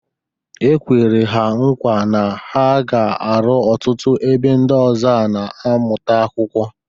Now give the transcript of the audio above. E kwere ha nkwa na a ga-arụ ọtụtụ ebe ndị ọzọ a na-amụta akwụkwọ.